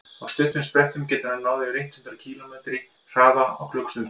á stuttum sprettum getur hann náð yfir eitt hundruð kílómetri hraða á klukkustund